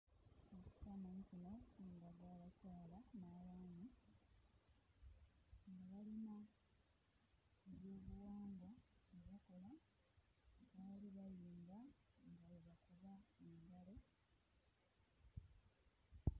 Ekifaananyi kino kindaga abakyala n'abaami nga balina ebyobuwangwa bye bakola. Baali bayimba nga bwe bakuba engalo.